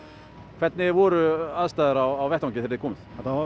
hvernig voru aðstæður á vettvangi þegar þið komuð